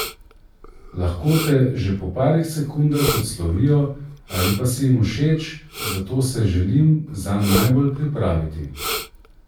Lahko te že po parih sekundah odslovijo ali pa si jim všeč, zato se želim zanj najbolj pripraviti.